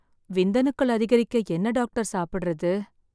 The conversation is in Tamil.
விந்தணுக்கள் அதிகரிக்க என்ன டாக்டர் சாப்பிடறது?